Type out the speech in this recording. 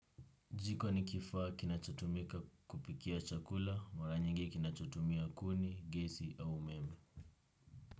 Jiko ni kifaa kinachotumika kupikia chakula, mara nyingi kinachotumia kuni, gesi au umeme.